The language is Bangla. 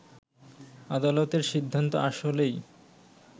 আদালতের সিদ্ধান্ত আসলেই